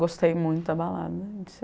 Gostei muito da balada.